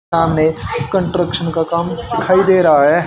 ना मे कंट्रक्शन का काम दिखाई दे रा है।